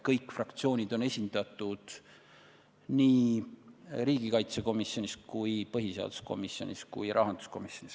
Kõik fraktsioonid on esindatud nii riigikaitsekomisjonis, põhiseaduskomisjonis kui ka rahanduskomisjonis.